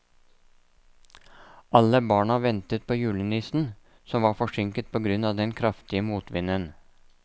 Alle barna ventet på julenissen, som var forsinket på grunn av den kraftige motvinden.